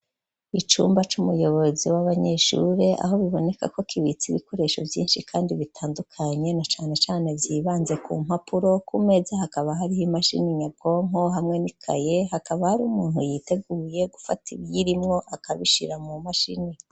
Icumba c'umuyobozi w'abanyeshuri aho biboneka ko kibitse ibikoresho vyishi kandi bitandukanye na cane cane vyibanze ku mpapuro ku meza hakaba hariho imashini nyabwonko hamwe n'ikaye hakaba hariho umuntu witeguye gufata ibirimwo akabishira mu mashini.